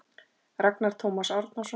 Ragnar Tómas Árnason